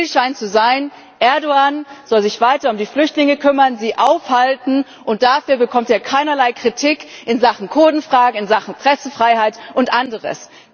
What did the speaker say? Der Deal scheint zu sein Erdoğan soll sich weiter um die Flüchtlinge kümmern, sie aufhalten, und dafür bekommt er keinerlei Kritik in Sachen Kurdenfrage, in Sachen Pressefreiheit und anderes.